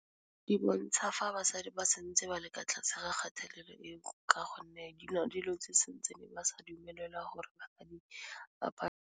Ke bontsha fa basadi ba santse ba leka tlase ga kgatelelo e ka gonne di na dilo tse santse ne ba sa dumelelwa gore basadi .